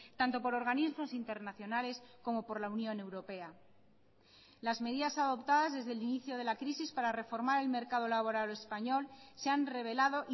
tanto por organismos internacionales como por la unión europea las medidas adoptadas desde el inicio de la crisis para reformar el mercado laboral español se han revelado